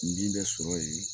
N bin bɛ sɔrɔ yen